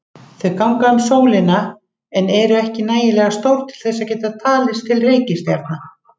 Þau ganga um sólina en eru ekki nægilega stór til að geta talist til reikistjarna.